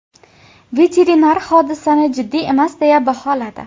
Veterinar hodisani jiddiy emas deya baholadi.